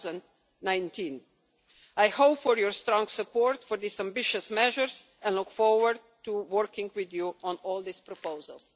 2019. I hope for your strong support for these ambitious measures and look forward to working with you on all these proposals.